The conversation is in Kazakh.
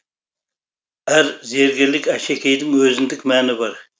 әр зергерлік әшекейдің өзіндік мәні бар